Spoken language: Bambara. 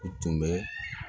U tun bɛ